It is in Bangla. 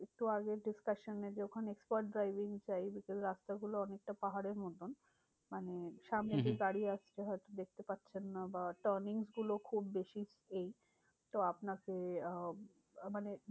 একটু আগের discussion এ যে ওখানে expert driving চাই because রাস্তাগুলো অনেকটা পাহাড়ের মতন। মানে সামনে হম হম দিয়ে গাড়ি আসছে দেখতে পাচ্ছেন না বা turning গুলো খুব বেশি। এই তো আপনাকে আহ মানে